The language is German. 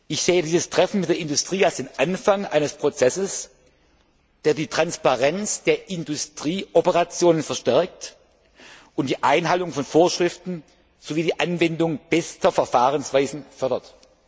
Ich sehe dieses Treffen mit der Industrie als den Anfang eines Prozesses, der die Transparenz der Industrieoperationen verstärkt und die Einhaltung von Vorschriften sowie die Anwendung bester Verfahrensweisen fördert.